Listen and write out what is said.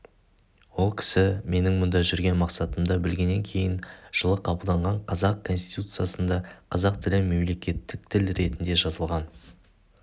ол кісі менің мұнда жүрген мақсатымды білгеннен кейін жылы қабылданған қазақ конституциясында қазақ тілі мемлекеттік тіл ретінде жазылған